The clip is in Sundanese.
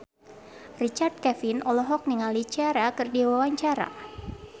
Richard Kevin olohok ningali Ciara keur diwawancara